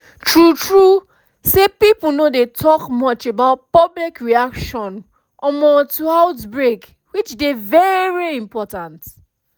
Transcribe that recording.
i know bin know how public reaction to outbreak dey very important until i get children